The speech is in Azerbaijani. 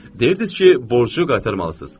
Deyirdiz ki, borcu qaytarmalısınız.